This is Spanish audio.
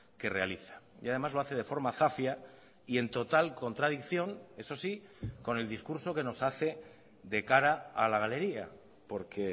que realiza y además lo hace de forma zafia y en total contradicción eso sí con el discurso que nos hace de cara a la galería porque